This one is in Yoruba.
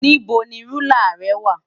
Níbo ni rúlà rẹ wà?